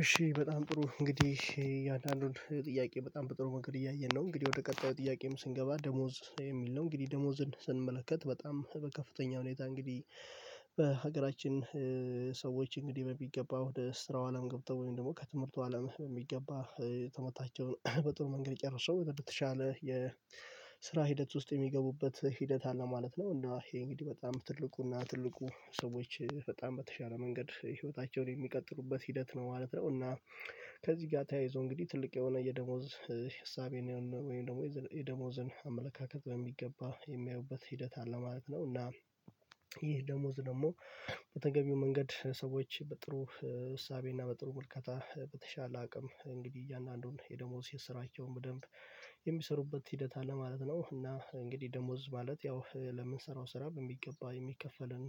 እሺ በጣም ጥሩ እንግዲህ አንዳንዱን ጥያቄ በጣም በጥሩ መንገድ እያየን ነው። እንግዲህ ወደ ቀጣዩ ጥያቄም ስንገባ ደሞዝ የሚል ነው እንግዲህ ደሞዝን ስንመለከት በጣም በከፍተኛ ሁኔታ እንግዲህ በሀገራችን እንግዲህ በሚገባው ወደ ስራው አለም ገብተው ወይም ደግሞ ከትምህርቱ አለም በሚገባ ትምህርታቸውን በጥሩ መንገድ ጨረሰው ወደተሻለ የስራ ሂደት ውስጥ የሚገቡበት ሂደት አለ ማለት ነው። እና ይሄ እንግዲህ ትልቁና ትልቁ ሰዎች በጣም በተሻለ መንገድ ህይወታቸውን የሚቀጥሉበት ሂደት ነው ማለት ነው። እና ከዚህ ጋር ተያይዞ እንግዲህ ትልቅ የሆነ የደሞዝ ሀሳቤን ወይም ደግሞ የደሞዝን አመለካከት በሚገባ የሚያዩበት ሂደት አለ ማለት ነው። እና ይህ ደሞዝ ደግሞ በተገቢው መንገድ ሰዎች በጥሩ እሳቤ እና በጥሩ መልከታ በተሻለ አቅም እንግዲህ እያንዳንዱን የደሞዝ የስራቸውን ደንብ የሚሰሩበት ሂደት አለ ማለት ነው። እና እንግዲህ ደሞዝ ማለት ያው ለምንሰራው ስራ በሚገባ የሚከፈለን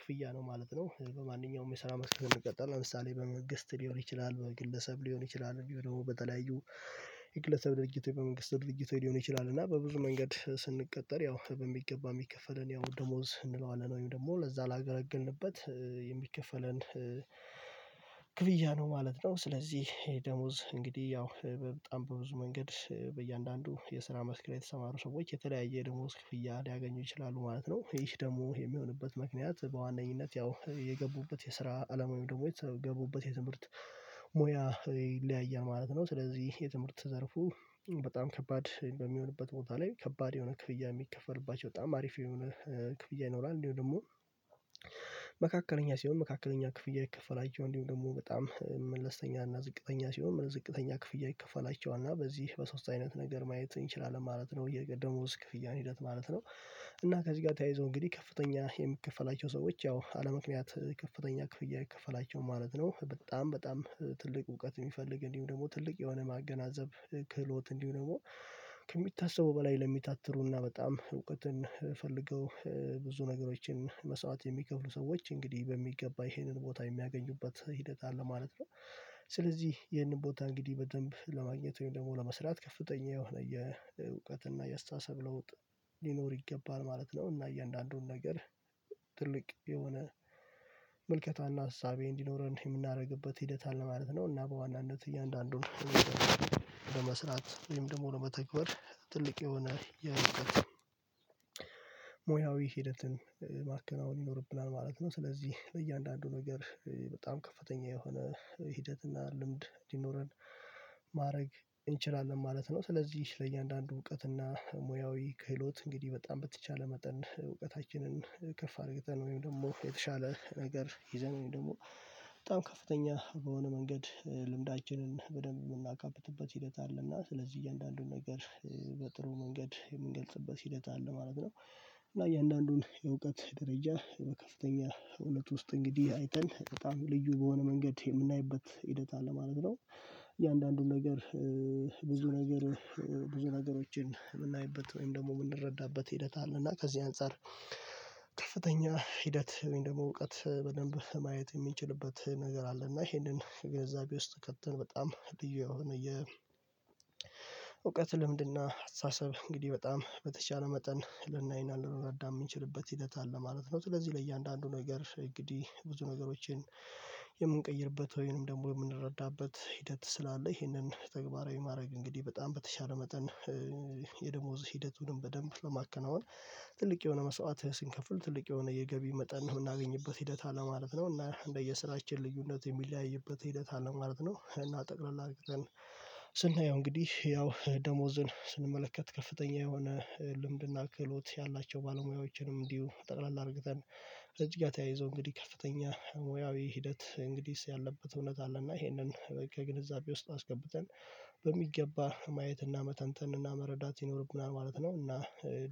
ክፍያ ነው ማለት ነው። በማንኛውም የሰራ መስክ ብንቀጠር ለምሳሌ በመንግስት ሊሆን ይችላል በግለሰብ ሊሆን ይችላል ደግሞ በተለያዩ የግለሰብ ድርጀቶች በመንግስት ድርጊት ሊሆን ይችላል። እና በብዙ መንገድ ስንቀጠር ያው በሚገባ የሚከፈለን ያው ደሞዝ እንለዋለን ወይም ደግሞ ለዛ ላገለገልንበት የሚከፈለን ክፍያ ነው ማለት ነው። ስለዚህ ይሄ ደሞዝ እንግዲህ ያው በጣም በብዙ መንገድ በእያንዳንዱ የስራ መስክር የተሰማሩ ሰዎች የተለያየ ደግሞ ክፍያ ሊያገኙ ይችላሉ ማለት ነው። ይህ ደግሞ የሚሆንበት ምክንያት በዋነኝነት ያው የገቡበት የስራ አለም ወይም ደግሞ የገቡበት የትምህርት ሙያ ይለያያል ማለት ነው። ስለዚህ የትምህርት ዘርፉ በጣም ከባድ በሚሆንበት ቦታ ላይ ከባድ የሆነ ክፍያ የሚከፈልባቸው በጣም አሪፍ የሆነ ክፍያ ይኖራል እንዲሁ። ደግሞ መካከለኛ ሲሆን መካከለኛ ክፍያ ይከፈላቸው እንዲሁ ደግሞ በጣም መለስተኛ እና ዝቅተኛ ሲሆን ዝቅተኛ ክፍያ ይከፋላቸዋል እና በዚህ በሶስት አይነት ነገር ማየት እንችላለን ማለት ነው። የደሞዝ ክፍያን ሂደት ማለት ነው እና ከዚህ ጋር ተያይዞ እንግዲህ ከፍተኛ የምከፍላቸው ሰዎች ያው አለምክንያት ከፍተኛ ክፍያ አይከፈላቸው ማለት ነው በጣም በጣም ትልቅ እውቀት የሚፈልግ እንዲሁ ደግሞ ትልቅ የሆነ ማገናዘብ ክህሎት እንዲሁ ደግሞ ከሚታሰበው በላይ ለሚታተሩና በጣም እውቀትን ፈልገው ብዙ ነገሮችን መስዋዕት የሚከፍሉ ሰዎች እንግዲህ በሚገባ ይሄንን ቦታ የሚያገኙበት ሂደት አለ ማለት ነው። ስለዚህ ይሄንን ቦታ እንግዲህ በደንብ ለማግኘት ወይም ደግሞ ለመስራት ከፍተኛ የሆነ የእውቀት እና የአስተሳሰብ ለውጥ ሊኖር ይገባል ማለት ነው። እና እያንዳንዱን ነገር ትልቅ የሆነ መልከታና ሀሳቤ እንዲኖረን የምናደርግበት ሂደት አለ ማለት ነው። እና በዋናነት እያንዳንዱን በመስራት ወይም ደግሞ ለመተግባር ትልቅ የሆነ የሙያዊ ሂደትን ማከናወን ይኖርብናል ማለት ነው። ስለዚህ ለእያንዳንዱ ነገር በጣም ከፍተኛ የሆነ ሂደት እና ልምድ እንዲኖረን ማድረግ እንችላለን ማለት ነው። ስለዚህ ለእያንዳንዱ እውቀት እና ሙያዊ ክህሎት እንግዲህ በጣም በተቻለ መጠን እውቀታችንን ከፍ አድርገን ወይም ደግሞ የተሻለ ነገር ይዘን ወይም ደግሞ በጣም ከፍተኛ በሆነ መንገድ ልምዳችንን በደንብ የምናካብትበት ሂደት አለና ስለዚህ እያንዳንዱን ነገር በጥሩ መንገድ የምንገልጽበት ሂደት አለ ማለት ነው። እያንዳንዱን የእውቀት ደረጃ ከፍተኛ እውነት ውስጥ እንግዲህ አይተን በጣም ልዩ በሆነ መንገድ የምናይበት ሂደት አለ ማለት ነው። እያንዳንዱን ነገር ብዙ ነገር ብዙ ነገሮችን የምናይበት ወይም ደግሞ የምንረዳበት ሂደት አለ እና ከዚህ አንፃር ከፍተኛ ሂደት ወይም ደግሞ እውቀት በደንብ ማየት የሚንችልበት ነገር አለ እና ይሄንን ግንዛቤ ውስጥ ከተን በጣም ልዩ የሆነ የ እውቀት ልምድና አስተሳሰብ እንግዲህ በጣም በተቻለ መጠን ልናይና ልንረዳ የምንችልበት ሂደት አለ ማለት ነው። ስለዚህ ለእያንዳንዱ ነገር እንግዲህ ብዙ ነገሮችን የምንቀይርበት ወይንም ደግሞ የምንረዳበት ሂደት ስላለ ይሄንን ተግባራዊ ማድረግ እንግዲህ በጣም በተሻለ መጠን የደሞዝ ሂደትንም በደንብ ለማከናወን ትልቅ የሆነ መስዋዕት ስንከፍል ትልቅ የሆነ የገቢ መጠን ነው የምናገኝበት ሂደት ማለት ነው። እና እንደየስራችን ልዩነት የሚለያይበት ሂደት አለ ማለት ነው። እና ጠቅለላ አድርገን ስናየው እንግዲህ ያው ደሞዝን ስንመለከት ከፍተኛ የሆነ ልምድና ክህሎት ያላቸው ባለሙያዎችንም እንዲሁ ጠቅላላ አድርገን ከዚህ ጋር ተያይዞ እንግዲህ ከፍተኛ ሙያዊ ሂደት እንግዲህ ያለበት እውነት አለና ይሄንን ከግንዛቤ ውስጥ አስገብተን በሚገባ ማየትና መተንተንና መረዳት ይኖርብናል ማለት ነው። እና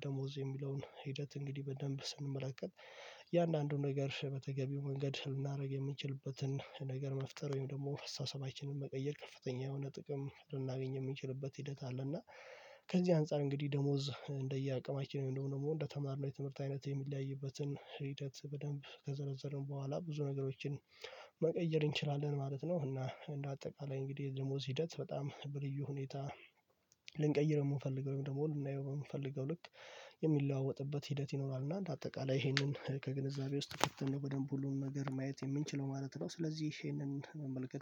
ደሞዝ የሚለውን ሂደት እንግዲህ በደንብ ስንመለከት እያንዳንዱን ነገር በተገቢው መንገድ ልናደርግ የሚችልበትን ነገር መፍጠር ወይም ደግሞ አስተሳሰባችንን መቀየር ከፍተኛ የሆነ ጥቅም ልናገኝ የሚንችልበት ሂደት አለ። እና ከዚህ አንፃር እንግዲህ ደሞዝ እንደየ አቅማችን ወይም ደግሞ እንደተማርነው የትምህርት አይነት የሚለያይበትን ሂደት በደንብ ከዘረዘርን በኋላ ብዙ ነገሮችን መቀየር እንችላለን ማለት ነው። እና እንደ አጠቃላይ እንግዲህ ደሞዝ ሂደት በጣም በልዩ ሁኔታ ልንቀይር የምንፈልገው ወይም ደግሞ ልናየው የምንፈልገው ልክ የሚለዋወጥበት ሂደት ይኖራል። እና እንደ አጠቃላይ ይሄንን ከግንዛቤ ውስጥ ከተን በደንብ ሁሉን ነገር ማየት የምንችለው ማለት ነው። ስለዚህ ይሄንን መመልከት